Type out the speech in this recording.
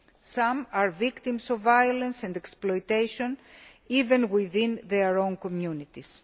Some are victims of violence and exploitation, even within their own communities.